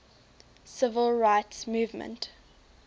civil rights movement